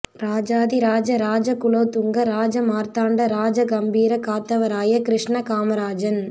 Rajathi Raja Raja Kulothunga Raja Marthanda Raja Gambheera Kathavaraya Krishna Kamarajan